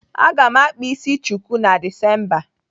Aga m akpa isi chuku na Disemba.